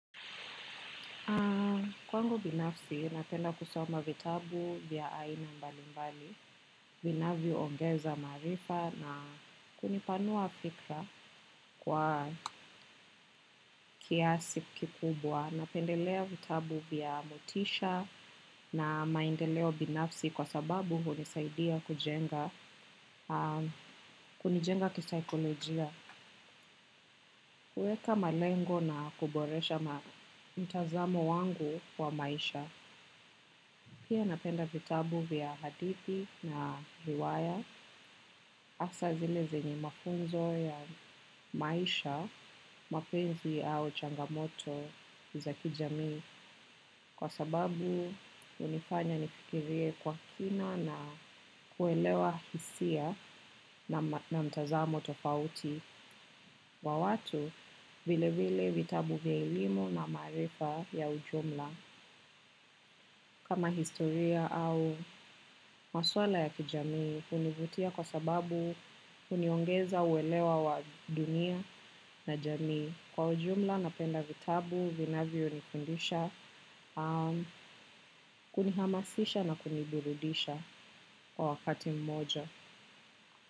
Kwangu binafsi napenda kusoma vitabu vya aina mbalimbali vinavyoongeza mzarifa na kunipanua fikra kwa kiasi kikubwa. Napendelea vitabu vya motisha na maendeleo binafsi kwa sababu hunisaidia kujenga, kunijenga kisaikolojia. Kuweka malengo na kuboresha mtazamo wangu wa maisha. Pia napenda vitabu vya hadithi na riwaya hasa zile zenye mafunzo ya maisha, mapenzi au changamoto za kijamii kwa sababu hunifanya nifikirie kwa kina na kuelewa hisia na na mtazamo tofauti wa watu vilevile vitabu vya elimu na maarifa ya ujumla. Kama historia au maswala ya kijamii hunivutia kwa sababu huniongeza uwelewa wa dunia na jamii. Kwa ujumla napenda vitabu, vinavyonifundisha, kunihamasisha na kuniburudisha kwa wakati mmoja.